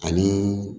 Ani